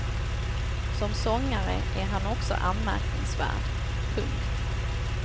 Som sångare är han också anmärkningsvärd. punkt